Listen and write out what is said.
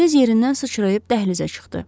Tez yerindən sıçrayıb dəhlizə çıxdı.